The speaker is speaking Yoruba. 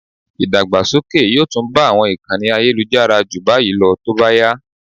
Ìdàgbàsókè yóò tún bá àwọn ìkànnì ayélujára ju báyìí lọ tó bá yá